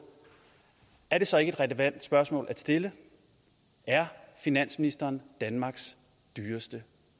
er det så ikke et relevant spørgsmål at stille er finansministeren danmarks dyreste